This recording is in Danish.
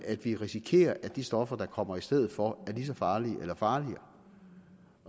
at vi risikerer at de stoffer der kommer i stedet for er lige så farlige eller farligere